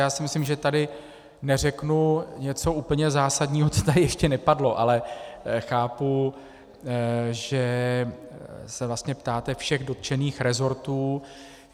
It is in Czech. Já si myslím, že tady neřeknu něco úplně zásadního, co tady ještě nepadlo, ale chápu, že se vlastně ptáte všech dotčených resortů.